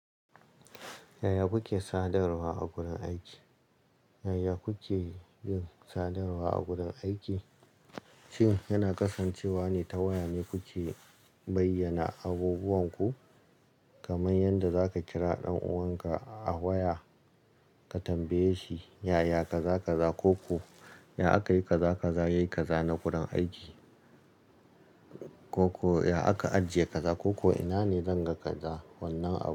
Yaya kuke sadarwa a gurin aiki? Yaya kuke yin sadarwa a gurin aiki? Shin yana kasancewa ne ta waya me kuke bayyana abubuwan ku? Kamar yadda za ka kira ɗan'uwanka a waya ka tambaye shi yaya ka za ka za ko ku ya aka yi ka za ka za yayi ka za na gurin aiki. Ko ku ya aka ajiye ka za ko ko ina ne zan ga ka za wannan ab.